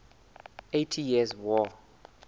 eighty years war